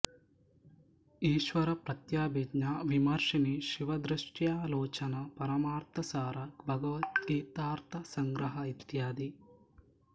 ಈಶ್ವರಪ್ರತ್ಯಭಿಜ್ಞಾ ವಿಮರ್ಶಿನೀ ಶಿವದೃಷ್ಟ್ಯಾ ಲೋಚನ ಪರಮಾರ್ಥಸಾರ ಭಗದ್ಗೀತಾರ್ಥ ಸಂಗ್ರಹ ಇತ್ಯಾದಿ